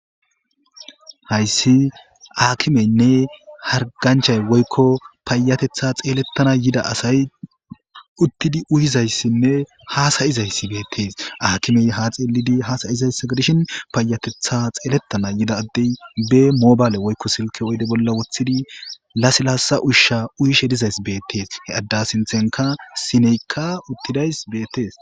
Hayssi aakimeynne harganchay woykko paayatetha xeelettana yida asay uttidi uyizayssinne haasayizayssi beettees aakimey ha xeelidi haasayizayssa gdishin paayatetha xeelettana yida addey be mobayle woykko silke oyde bolla wothidi lasilasa ushsha uyishe dizays beettees he adda sinthenka sineykka uttidays beettees.